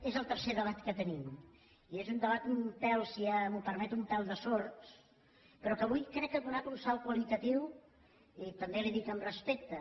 és el tercer debat que tenim i és un debat si m’ho permet un pèl de sords però que avui crec que ha donat un salt qualitatiu i també li ho dic amb respecte